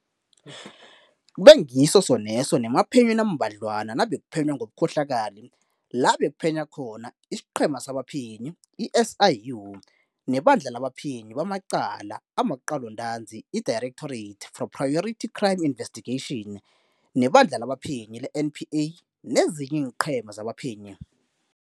Kubengiso soneso nemaphenyweni ambadlwana nabekuphenywa ngobukhohlakali, labekuphenya khona isiqhema sabaphenyi i-SIU, nebandla labaphenyi bamacala amaqalontanzi i-Directorate for Priority Crime Investigation, neBandla labaPhenyi le-NPA nezinye iinqhema zabaphenyi.